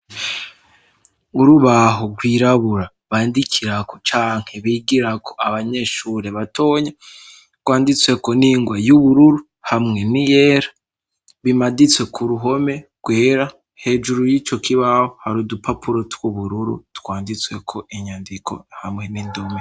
Urubaho rwirabura bandikirako canke bigirako abanyeshure batonya rwanditsweko n'ingwa y'ubururu hamwe n'iyera bimaditswe ku ruhome rwera. Hejuru y'ico kibaho hari udupapuro tw'ubururu twanditsweko inyandiko hamwe n'indome.